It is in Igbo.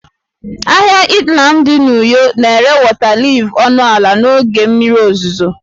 Ahịa Itam dị na uyo na-ere wọta liif ọnụ ala n'oge mmiri ozuzo